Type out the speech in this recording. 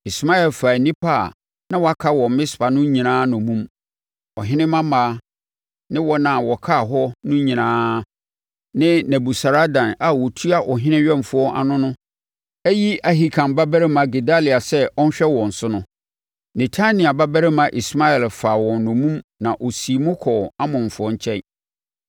Ismael faa nnipa a na wɔaka wɔ Mispa no nyinaa nnommum; ɔhene mmammaa ne wɔn a wɔkaa hɔ no nyinaa a Nebusaradan a ɔtua ɔhene awɛmfoɔ ano no ayi Ahikam babarima Gedalia sɛ ɔnhwɛ wɔn so no. Netania babarima Ismael faa wɔn nnommum na ɔsii mu kɔɔ Amonfoɔ nkyɛn.